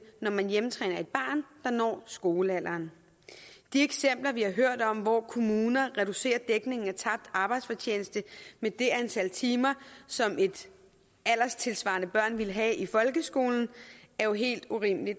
når man hjemmetræner et barn der når skolealderen de eksempler vi har hørt om hvor kommuner reducerer dækningen af tabt arbejdsfortjeneste med det antal timer som et alderssvarende barn ville have i folkeskolen er jo helt urimelige